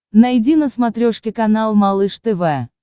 найди на смотрешке канал малыш тв